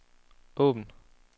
åbn